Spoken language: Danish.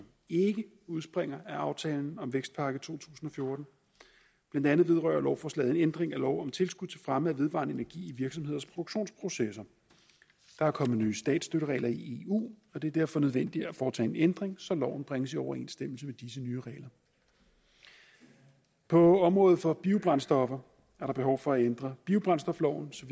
ikke udspringer af aftalen om vækstpakke to tusind og fjorten blandt andet vedrører lovforslaget en ændring af lov om tilskud til fremme af vedvarende energi i virksomheders produktionsprocesser der er kommet ny statsstøtteregler i eu og det er derfor nødvendigt at foretage en ændring så loven bringes i overensstemmelse med disse nye regler på området for biobrændstoffer er der behov for at ændre biobrændstofloven så